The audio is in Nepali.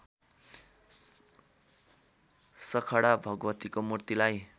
सखडा भगवतीको मूर्तिलाई